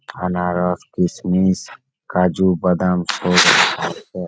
আনারস কিশমিশ কাজু বাদাম সব আছে--